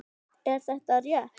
Er þetta rétt?